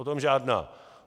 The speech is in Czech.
O tom žádná.